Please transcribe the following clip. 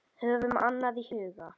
Höfum annað í huga.